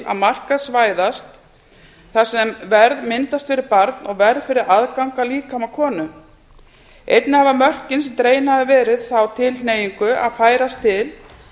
að markaðsvæðast þar sem verð myndast fyrir barn og verð fyrir aðgang að líkama konu einnig hafa mörkin sem dregin hafa verið þá tilhneigingu að færast til